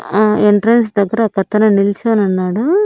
ఆ ఎంట్రన్స్ దగ్గర ఒకతను నిల్చోనున్నాడు.